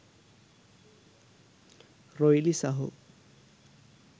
රොයිලි සහෝ.